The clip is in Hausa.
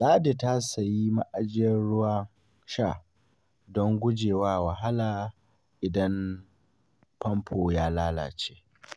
Ladi ta siya ma'ajiyar ruwan sha don guje wa wahala idan famfo ya lalace.